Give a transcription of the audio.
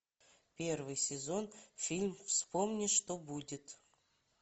первый сезон фильм вспомни что будет